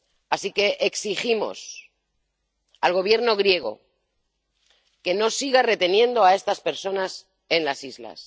Así que exigimos al Gobierno griego que no siga reteniendo a estas personas en las islas.